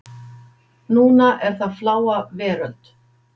Núna er það Fláa veröld.